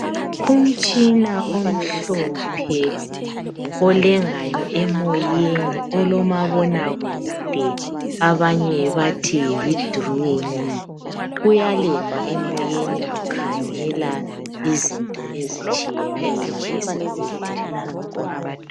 Umtshina omhlophe olengayo emoyeni olomabona kude abanye bathi yi dironi uyalenga emoyeni ukhangela izinto ezitshiyeneyo esibhedlela.